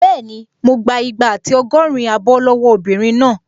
Bẹ́ẹ̀ni, mo gbà igba àti ọgọ́rin abọ́ lọ́wọ́ obìnrin náà